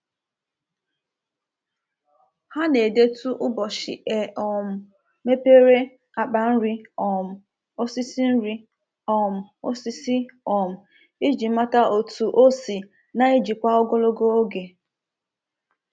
Ha na-edetu ụbọchị e um mepere akpa nri um osisi nri um osisi um iji mata otu o si na-ejikwa ogologo oge.